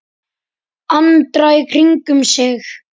Andra í kringum sig.